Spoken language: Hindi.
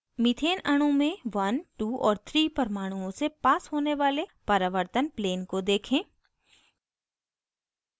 methane अणु में 12 और 3 परमाणुओं से पास होने वाले परावर्तन plane को देखें